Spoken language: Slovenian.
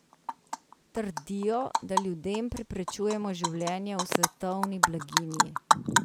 Trdijo, da ljudem preprečujemo življenje v svetovni blaginji.